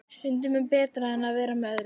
Stundum betra en að vera með öðrum.